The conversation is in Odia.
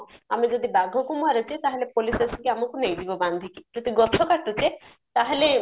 ଆମେ ଯଦି ବାଘକୁ ମାରୁଚେ ତାହେଲେ police ଆସିକି ଆମକୁ ନେଇଯିବ ବାନ୍ଧିକି ଯଦି ଗଛ କାଟୁଛେ ତାହେଲେ